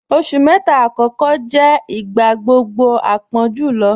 Oṣù mẹta akọkọ jẹ̀ igbagbogbo àpọ̀n julọ